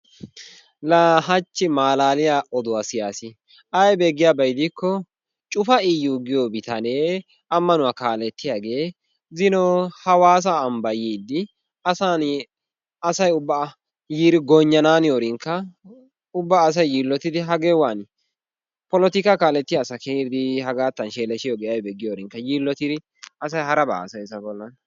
La hachchi malaaliya oduwa siyaas aybee giikko cufa iyuu giyo bitanee ammanuwa kaalettiyagee zino hawaasa ambbaa yiiddi asaani asayi ubba a yiidi gulbbatidi goynnananiyorinkka ubba asayi yiillotidi hagee waanii polotikaa kaalettiya asa kiyidi hagaa tayishe sheleeshshiyogee aybe giyorinkka yiillotidi asayi harabaa haasayes a bollan.